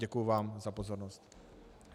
Děkuji vám za pozornost.